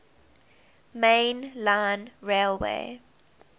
main line railway